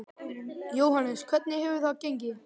Jóhannes: Hvernig hefur það gengið?